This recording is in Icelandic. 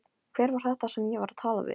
Hver var þetta sem ég var að tala við?